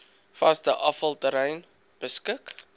vaste afvalterrein beskik